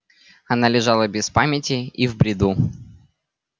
она лежала без памяти и в бреду